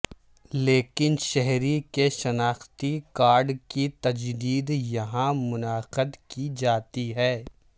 لیکن شہری کے شناختی کارڈ کی تجدید یہاں منعقد کی جاتی ہے